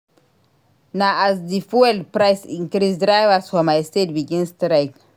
Na as di fuel price increase drivers for my state begin strike.